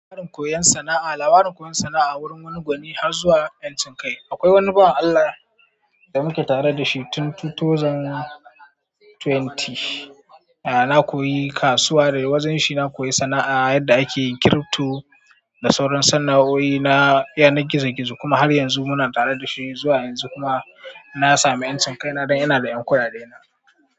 Lawarin koyon sana'a, lawarin koyon sana'a wurin wani gwani har zuwa bincike. Akwai wani bawan Allah da muka tare dashi tun 2020. Na koyi kasuwa da wajenshi, na koyi sana'ar yadda ake yin kirifto da sauran sanna'oin na yanar gizo kuma har yanzu muja tare da shi zuwa yanzu muna na sami 'yancin kai na dan ina da 'yan kwaya da ina.